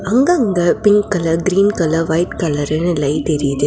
அங்கங்க pink colour green colour white கலர்னு light எரியுது.